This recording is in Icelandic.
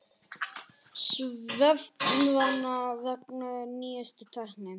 Svefnvana vegna nýjustu tækni